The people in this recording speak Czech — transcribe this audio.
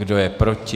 Kdo je proti?